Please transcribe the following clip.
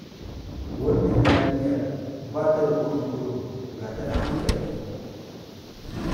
Wannan yarinyar ba ta da kurum-kurum, ga ta da hankali.